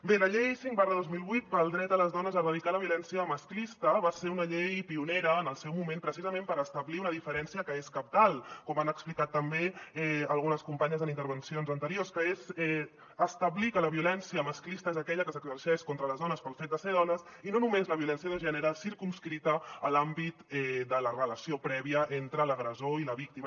bé la llei cinc dos mil vuit del dret de les dones a erradicar la violència masclista va ser una llei pionera en el seu moment precisament per establir una diferència que és cabdal com han explicat també algunes companyes en intervencions anteriors que és establir que la violència masclista és aquella que s’exerceix contra les dones pel fet de ser dones i no només la violència de gènere circumscrita a l’àmbit de la relació prèvia entre l’agressor i la víctima